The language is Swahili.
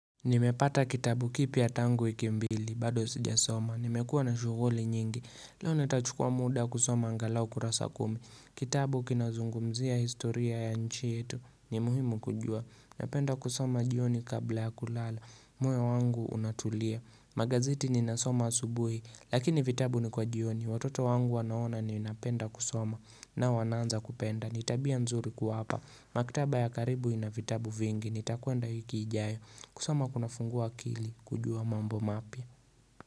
Nimepata kitabu kipya tangu wiki mbili, bado sijasoma. Nimekua na shuguli nyingi, leo nitachukua muda kusoma angalau kurasa kumi. Kitabu kinazungumzia historia ya nchi yetu. Ni muhimu kujua. Napenda kusoma jioni kabla ya kulala. Moyo wangu unatulia. Magazeti ni nasoma asubuhi, lakini vitabu ni kwa jioni. Watoto wangu wanaona ninapenda kusoma nao wanaanza kupenda. Nitabia mzuri kuwapa. Maktaba ya karibu ina vitabu vingi. Nitakuenda wiki ijayo. Kusoma kuna fungua akili kujua mambo mapya.